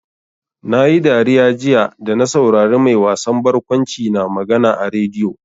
Na yi dariya jiya da na saurari mai wasan barkwanci na magana a rediyo.